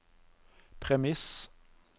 premiss